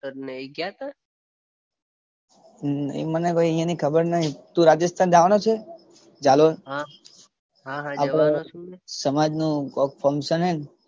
તમે એ ગયા તા. મને ભાઈ અહિયાં ની ખબર નઇ. તુ રાજસ્થાન જવાનો છે ઝાલોર. આપણા સમાજનું ફંકશન છે ને.